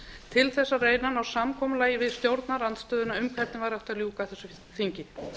til þess að reyna að ná samkomulagi við stjórnarandstöðuna um hvernig væri hægt að ljúka þessu þingi